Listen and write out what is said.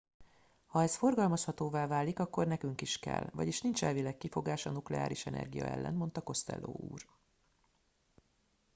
ha ez forgalmazhatóvá válik akkor nekünk is kell vagyis nincs elvileg kifogás a nukleáris energia ellen - mondta costello úr